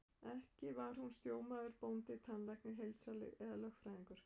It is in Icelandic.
Ekki var hún sjómaður, bóndi, tannlæknir, heildsali eða lögfræðingur.